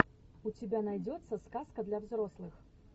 у тебя найдется сказка для взрослых